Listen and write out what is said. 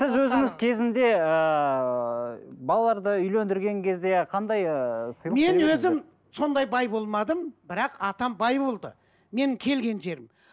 сіз өзіңіз кезінде ыыы балаларды үйлендірген кезде қандай ыыы сыйлық мен өзім сондай бай болмадым бірақ атам бай болды менің келген жерім